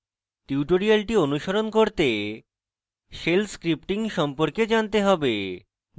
tutorial অনুসরণ করতে shell scripting সম্পর্কে জানতে have